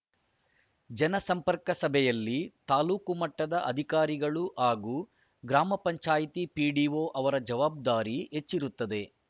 ಜನಸಂಪರ್ಕ ಸಭೆಯಲ್ಲಿ ತಾಲೂಕು ಮಟ್ಟದ ಅಧಿಕಾರಿಗಳು ಹಾಗೂ ಗ್ರಾಮ ಪಂಚಾಯೆತಿ ಪಿಡಿಓ ಅವರ ಜವಾಬ್ದಾರಿ ಹೆಚ್ಚಿರುತ್ತದೆ